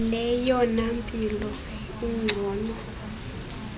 leyona mpilo ingcono